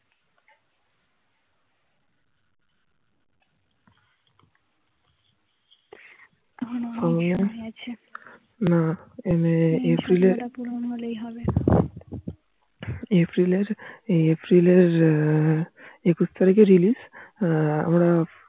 না এই এপ্রিল এর এপ্রিল এপ্রিল এর একুশ তারিখে Release আমরা